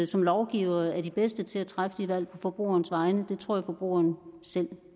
som lovgivere er de bedste til at træffe de valg på forbrugerens vegne det tror jeg forbrugeren selv